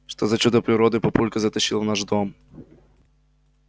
что за чудо природы папулька затащил в наш дом